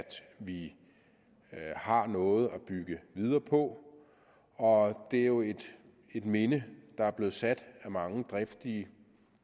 vi har noget at bygge videre på og det er jo et minde der er blevet sat af mange driftige